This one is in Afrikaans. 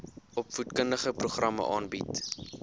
opvoedkundige programme aanbied